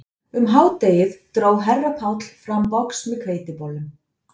Um hádegið dró herra Páll fram box með hveitibollum